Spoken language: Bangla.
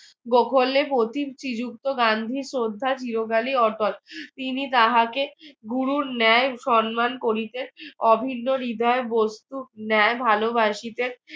গান্ধী শ্রদ্ধা চিরকালই অটল তিনি তাহাকে গুরুর ন্যায় সম্মান করিতে অভিন্ন হৃদয়ে বস্তুর ন্যায় ভালোবাসিতে